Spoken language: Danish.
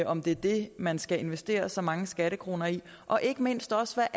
om det er det man skal investere så mange skattekroner i og ikke mindst også af